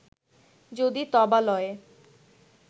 যদি তবালয়ে